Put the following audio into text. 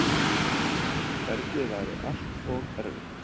Ferlið væri allt og erfitt.